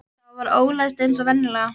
Það var ólæst eins og venjulega.